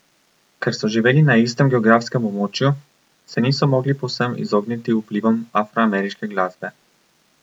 Ker so živeli na istem geografskem območju, se niso mogli povsem izogniti vplivom afroameriške glasbe.